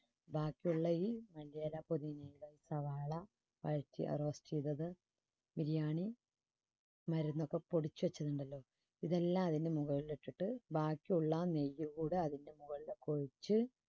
ബാക്കിയുള്ള ഈ മല്ലിയില പൊടി സവാള biriyani മരുന്നൊക്കെ പൊടിച്ചു വച്ചിട്ടുണ്ടല്ലോ ഇതെല്ലാം അതിനു മുകളിലിട്ടിട്ട് ബാക്കിയുള്ള ആ നെയ്യ് കൂടെ അതിൻറെ മുകളിലേക്ക് ഒഴിച്ച്